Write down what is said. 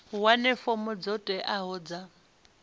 wane fomo dzo teaho dza